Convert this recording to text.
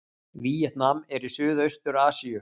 Víetnam er í Suðaustur-Asíu.